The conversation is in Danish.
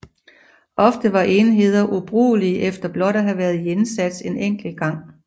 Ofte var enheder ubrugelige efter blot at have været i indsats en enkelt gang